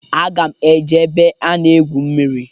Aga m eje ebe ana-egwu mmiri.